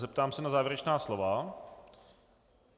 Zeptám se na závěrečná slova.